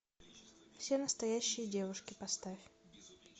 все настоящие девушки поставь